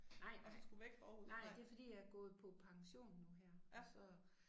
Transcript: Nej nej nej det fordi jeg gået på pension nu her og så